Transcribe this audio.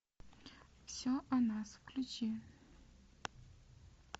все о нас включи